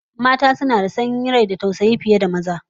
Mata suna da tausayi da sanyin rai fiye da maza, yawanci